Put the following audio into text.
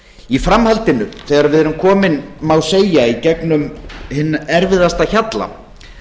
í framhaldinu þegar við erum komin má segja í gegnum hinn erfiðasta hjalla